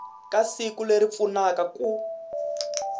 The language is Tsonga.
ka siku leri pfunaka ku